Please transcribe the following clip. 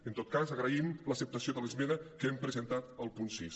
en tot cas agraïm l’acceptació de l’esmena que hem presentat al punt sis